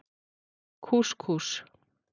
Kús Kús.